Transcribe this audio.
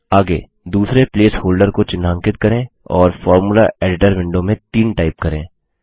आगे दूसरे placeholder को चिन्हांकित करें और फॉर्मूला एडिटर विंडो में 3 टाइप करें